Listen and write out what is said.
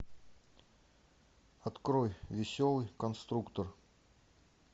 открой веселый конструктор